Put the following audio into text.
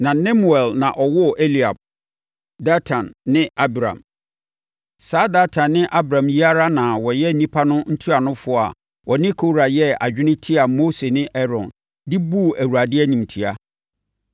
na Nemuel na ɔwoo Eliab, Datan ne Abiram. Saa Datan ne Abiram yi ara na wɔyɛ nnipa no ntuanofoɔ a wɔne Kora yɛɛ adwene tiaa Mose ne Aaron, de buu Awurade animtia.